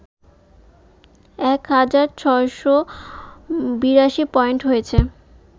এক হাজার ৬৮২পয়েন্ট হয়েছে